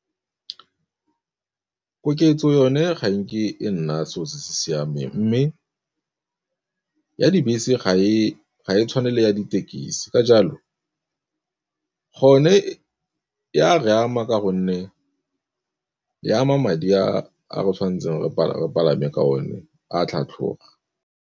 Koketso yone ga enke e nna selo se se siameng, mme ya dibese ga e tshwane le ya ditekisi, ka jalo gone e a re ama ka gonne e ama madi a re tshwanetseng re palame ka o ne a tlhatlhoga.